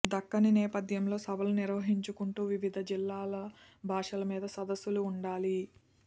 దక్కనీ నేపథ్యంలో సభలు నిర్వహించుకుంటూ వివిధ జిల్లాల భాషలమీద సదస్సులు ఉండాలి